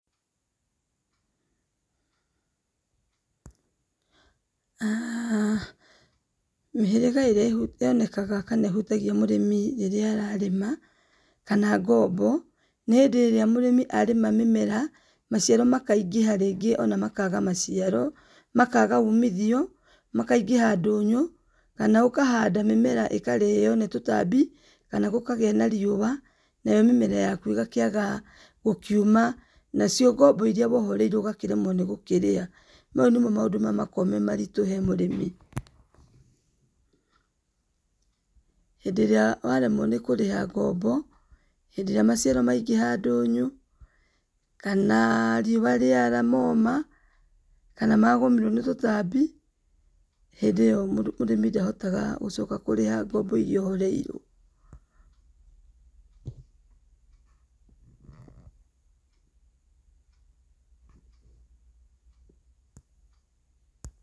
[Aaah] mĩhĩraga ĩrĩa ĩhutagia mũrĩmi rĩrĩa ararĩma kana ngombo nĩ hĩndĩ ĩrĩa mũrĩmi ararĩma mĩmera maciaro makaingĩha rĩngĩ ona makaga maciaro, makaga umithio, makaingĩha ndũnyũ kana ũkahanda mĩmera ĩkarĩo nĩ tũtambi kana gũkagĩa na riua nayo mĩmera yaku ĩgakĩaga gũkiuma nacio ngombo iria woereire ũgakĩremwo nĩ gũkĩrĩha, mau nĩmo maũmdũ marĩa makoragwo me maritũ he mũrĩmi. Hĩndĩ ĩrĩa waremwo nĩ kũrĩha ngombo hĩndĩ ĩrĩa maciaro maingĩha ndũnyũ kana riũa rĩara moma, hĩndĩ ũyũ mũrĩmi ndahotaga kũrĩha ngombo iria woereire.